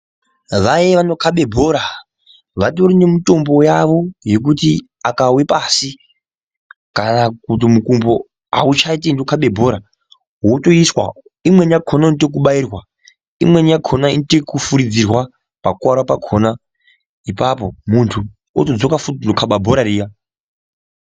Vaye vanokabe bhora vatorine mitombo yavo yekuti akave pasi kana kuti mukumbo hauchatendi kukaba bhora votoiswa. Imwe vakona inoita vekubairwa imweni yakona inoite yekufuridzirwa pakukuvara pakona ipapo muntu otodzoka futi kunokaba bhora riya.